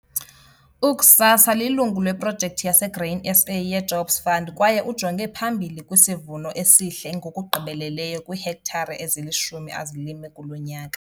UGhsasa lilungu leProjekthi yaseGrain SA yeJobs Fund kwaye ujonge phambili kwisivuno esihle ngokugqibeleleyo kwiihektare ezilishumi azilime kulo nyaka.